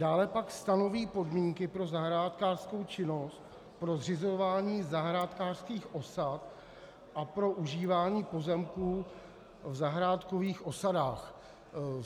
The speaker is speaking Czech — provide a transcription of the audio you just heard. Dále pak stanoví podmínky pro zahrádkářskou činnost, pro zřizování zahrádkářských osad a pro užívání pozemků v zahrádkových osadách.